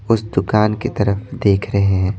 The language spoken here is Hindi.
उस दुकान की तरफ देख रहे हैं।